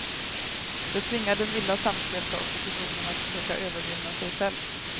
Det tvingar den illa samspelta oppositionen att försöka övervinna sig själv.